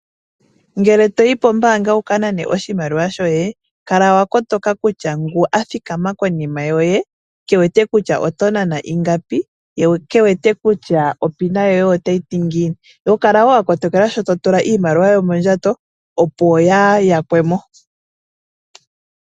Ngele toyi kombaanga wuka nane oshimaliwa shoye kala wakotoka kutya ngu athikama konima yoye kewete kutya oto nana ingapi ye kewete kutya opina yoye oyini. Kala woo wakotoka sho totula iimaliwa yoye mondjato opo yaa haya kwemo.